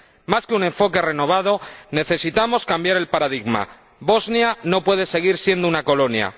Más que un enfoque renovado, necesitamos cambiar el paradigma Bosnia no puede seguir siendo una colonia.